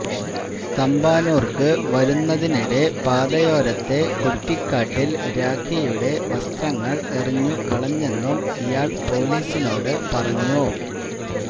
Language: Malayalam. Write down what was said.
തമ്പാനൂർക്കു വരുന്നതിനിടെ പാതയോരത്തെ കുറ്റിക്കാട്ടിൽ രാഖിയുടെ വസ്ത്രങ്ങൾ എറിഞ്ഞു കളഞ്ഞെന്നും ഇയാൾ പൊലീസിനോടു പറഞ്ഞു